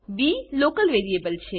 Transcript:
બી local variable છે